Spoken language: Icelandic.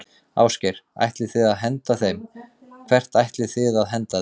Ásgeir: Ætlið þið að henda þeim, hvert ætlið þið að henda þeim?